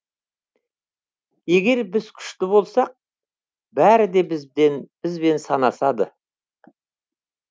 егер біз күшті болсақ бәрі де бізбен санасады